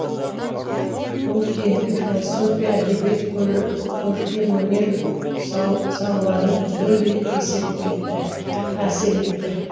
ол кейінгі философия әдебиет көркемөнер салаларына түгелдей әсер етті